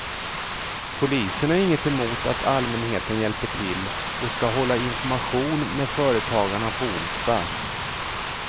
Polisen har inget emot att allmänheten hjälper till och ska hålla information med företagarna på onsdag.